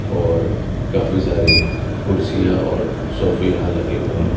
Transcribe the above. और काफी सारी कुर्सियां और सोफे यहां लगे हुए हैं।